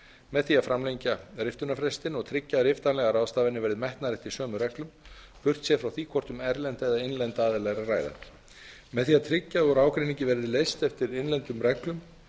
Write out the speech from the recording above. með því að framlengja frest til riftunar og tryggja að riftanlegar ráðstafanir verði metnar eftir sömu reglum burtséð frá því hvort um innlenda eða erlenda aðila sé að ræða með því að tryggja að úr ágreiningi verði leyst eftir innlendum reglum